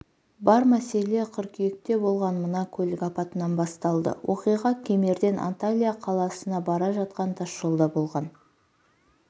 бар мәселе қыркүйекте болған мына көлік апатынан басталды оқиға кемерден анталия қаласына бара жатақан тасжолда болған